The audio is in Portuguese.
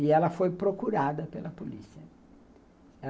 E ela foi procurada pela polícia.